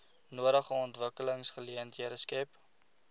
nodige ontwikkelingsgeleenthede skep